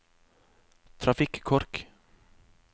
trafikkork